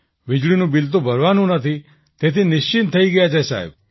વીજળીનું બિલ તો ભરવાનું નથી તેથી નિશ્ચિંત થઈ ગયા છીએ સાહેબ